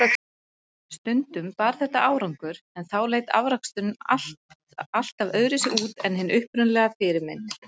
Stundum bar þetta árangur, en þá leit afraksturinn alltaf öðruvísi út en hin upprunalega fyrirmynd.